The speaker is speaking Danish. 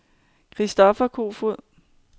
Christoffer Kofod